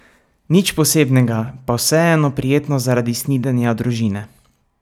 Nič posebnega, pa vseeno prijetno zaradi snidenja družine.